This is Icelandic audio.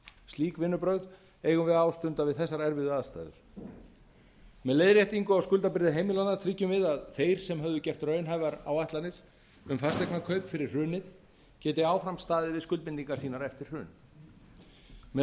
slík vinnubrögð eigum við að ástunda við þessar erfiðu aðstæður með leiðréttingu á skuldabyrði heimilanna tryggjum við að þeir sem höfðu gert raunhæfar áætlanir um fasteignakaup fyrir hrunið geti áfram staðið við skuldbindingar sínar eftir hrun með